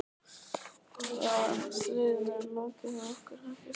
Já, en stríðinu er lokið hjá okkur, ekki satt?